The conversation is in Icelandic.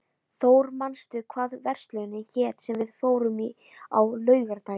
Thór, manstu hvað verslunin hét sem við fórum í á laugardaginn?